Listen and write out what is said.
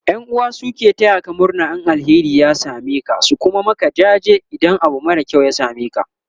ƴan'uwa su suke tayaka murna in alheri ya sameka su Kuma Maka jaji idan Abu mara kyau ya sameka